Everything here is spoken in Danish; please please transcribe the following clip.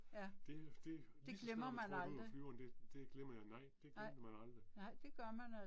Det det lige så snart du trådte ud af flyveren det det glemmer jeg nej, det glemmer man aldrig